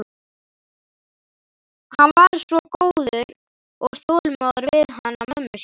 Hann var svo góður og þolinmóður við hana mömmu sína.